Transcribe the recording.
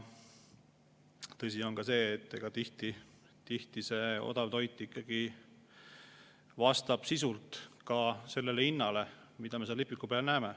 Tõsi on ka see, et tihti see odav toit vastab sisult ka hinnale, mida me seal lipiku peal näeme.